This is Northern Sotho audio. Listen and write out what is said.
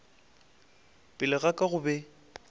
pele ga ka go be